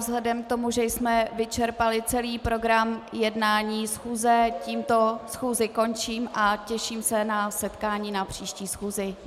Vzhledem k tomu, že jsme vyčerpali celý program jednání schůze, tímto schůzi končím a těším se na setkání na příští schůzi.